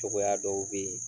Cogoya dɔw bɛ yen